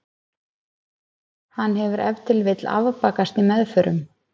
Hann hefur ef til vill afbakast í meðförum.